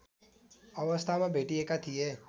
अवस्थामा भेटिएका थिए